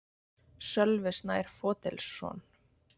Sölvi Snær Fodilsson